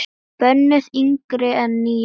Bönnuð yngri en níu ára.